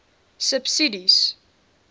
subsidies